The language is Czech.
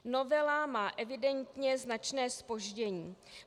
Novela má evidentně značné zpoždění.